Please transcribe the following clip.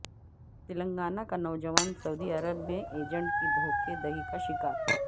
تلنگانہ کا نوجوان سعودی عرب میں ایجنٹ کی دھوکہ دہی کا شکار